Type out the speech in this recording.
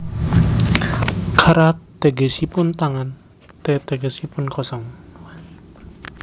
Kara tegesipun tangan te tegesipun kosong